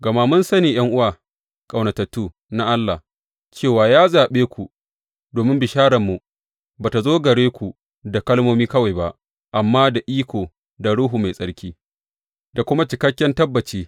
Gama mun sani, ’yan’uwa, ƙaunatattu na Allah, cewa ya zaɓe ku, domin bishararmu ba tă zo gare ku da kalmomi kawai ba, amma da iko, da Ruhu Mai Tsarki, da kuma cikakken tabbaci.